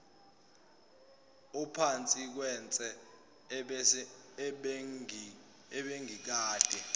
uphansi kwetshe ebengikade